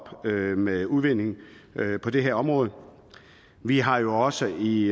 med udvindingen på det her område vi har jo også i